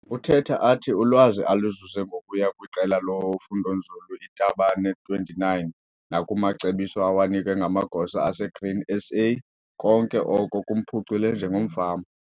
Uthetha athi ulwazi aluzuze ngokuya kwiQela loFundonzulu iThabane 29 nakumacebiso awanikwe ngamagosa aseGrain SA konke oko kumphucule njengomfama.